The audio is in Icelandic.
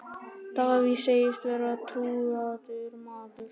Davíð segist vera trúaður maður.